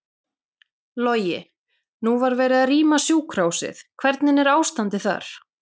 Logi: Nú var verið að rýma sjúkrahúsið, hvernig er ástandið þar?